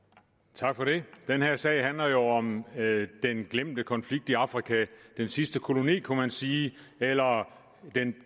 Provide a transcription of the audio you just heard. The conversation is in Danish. tak for det den her sag handler jo om den glemte konflikt i afrika den sidste koloni kunne man sige eller